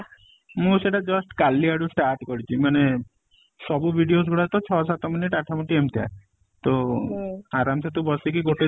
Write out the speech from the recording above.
ମୁଁ ସେଇଟା just କାଲି ଆଡୁ start କରିଛି ମାନେ ସବୁ videos ଗୁଡା ତ ଛ ସାତ minute ଆଠ ମିନଟ ଏମିତିକା ତ ଆରାମ ସେ ତୁ ବସିକି ଗୋଟେ